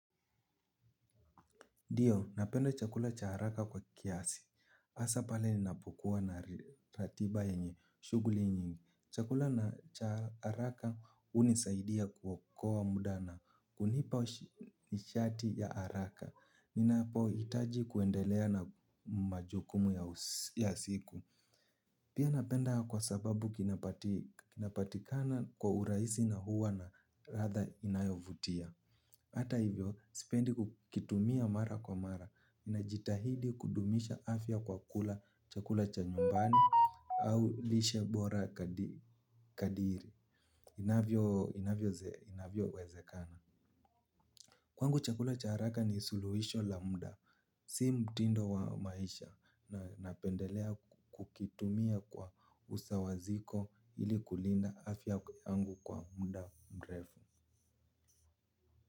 Ndiyo, napenda chakula cha haraka kwa kiasi. Asa pale ninapokuwa na ratiba yenye shuguli nyingi. Chakula na cha haraka unisaidia kuokoa muda na. Hunipa nishati ya haraka. Ninapo hitaji kuendelea na majukumu ya siku. Pia napenda kwa sababu kinapatikana kwa urahisi na huwa na ratha inayovutia. Hata hivyo, sipendi kukitumia mara kwa mara. Najitahidi kudumisha afya kwa kula chakula cha nyumbani au lishe bora kadiri inavyo wezekana. Kwangu chakula cha haraka ni suluhisho la muda. Si mtindo wa maisha na napendelea kukitumia kwa usawaziko ili kulinda afya yangu kwa muda mrefu.